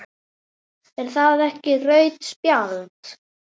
Er það ekki rautt spjald?